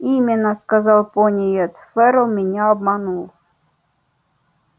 именно сказал пониетс ферл меня обманул